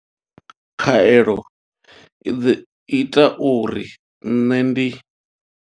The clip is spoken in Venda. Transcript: Khaelo i ḓo ita uri nṋe ndi.